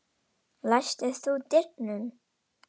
Læstir þú dyrunum?